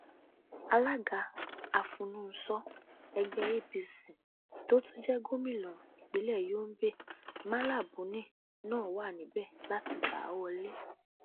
alága afúnùnso ẹgbẹ apc tó tún jẹ gómìnà ìpínlẹ yobe malla buni náà wà níbẹ láti gbá a wọlẹ